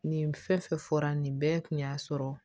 Nin fɛn fɛn fɔra nin bɛɛ kun y'a sɔrɔ